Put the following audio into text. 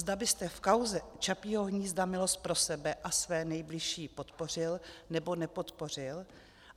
Zda byste v kauze Čapího hnízda milost pro sebe a své nejbližší podpořil, nebo nepodpořil.